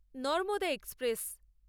Narmada express